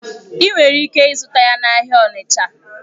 Ị nwere ike ịzụta ya n'ahịa Onicha.